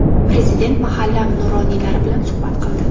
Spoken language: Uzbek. Prezident mahalla nuroniylari bilan suhbat qildi.